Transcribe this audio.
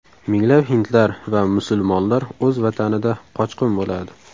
Minglab hindlar va musulmonlar o‘z vatanida qochqin bo‘ladi.